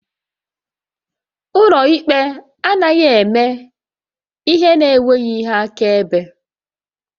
Ụlọ ikpe anaghị eme ihe n'enweghị ihe akaebe